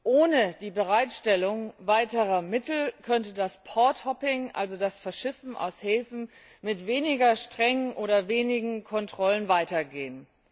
Ohne die Bereitstellung weiterer Mittel könnte das porthopping also das Verschiffen aus Häfen mit weniger strengen oder wenigen Kontrollen, weitergehen.